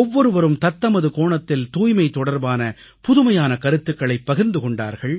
ஒவ்வொருவரும் தத்தமது கோணத்தில் தூய்மை தொடர்பான புதுமையான கருத்துக்களைப் பகிர்ந்து கொண்டார்கள்